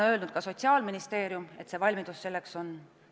Ka Sotsiaalministeerium on öelnud, et valmidus selleks on.